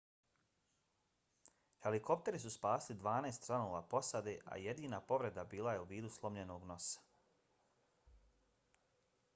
helikopteri su spasili dvanaest članova posade a jedina povreda bila je u vidu slomljenog nosa